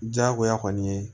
Diyagoya kɔni ye